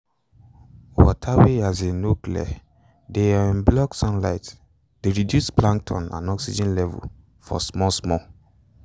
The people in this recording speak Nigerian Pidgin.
water wey um no clear de um block sunlighte de reduce plankton and oxygen level for small small